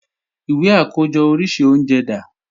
Ìwé àkójọ oríṣi oúnjẹ dà?